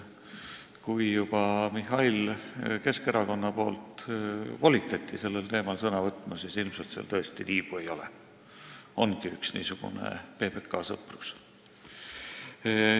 Kui juba Mihhail volitati Keskerakonna nimel sellel teemal sõna võtma, siis ilmselt seal tõesti tiibu ei ole, ongi üks niisugune PBK sõprus.